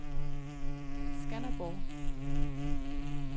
Skanderborg